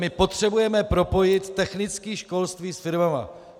My potřebujeme propojit technické školství s firmami.